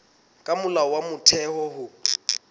ke molao wa motheo ho